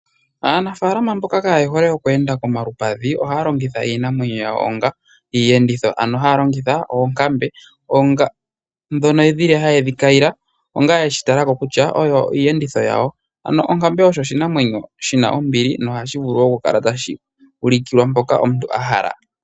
Aanafalama mboka kaaye hole oku enda komalupadhi ohaya longitha iinamwenyo yawo onga iiyenditho. Ano haya longitha oonkambe ndhono dhili haye dhi kayile noyeshi tala ko kutya oyo iiyenditho yawo. Ano onkambe oyo oshinamwenyo shina ombili nohashi vulu oku kala tashi ulikilwa mpoka omuntu a hala.